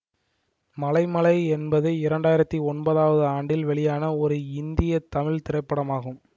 மலை மலை என்பது இரண்டு ஆயிரத்தி ஒன்பதவது ஆண்டில் வெளியான ஒரு இந்திய தமிழ் திரைப்படமாகும்